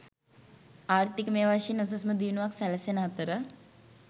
ආර්ථිකමය වශයෙන් උසස්ම දියුණුවක් සැලසෙන අතර